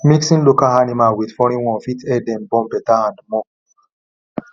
mixing local animal with foreign one fit help them born better and more